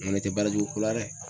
Nko ne tɛ baara jugu ko la dɛ.